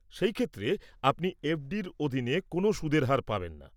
সেই ক্ষেত্রে, আপনি এফ.ডির অধীনে কোনও সুদের হার পাবেন না।